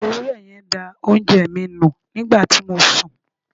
Ewúré yen da oúnje mi nu nígbàti mo sun